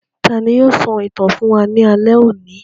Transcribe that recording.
Tani yóò sọ ìtàn fún wa ní alẹ́ òní?